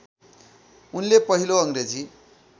उनले पहिलो अङ्ग्रेजी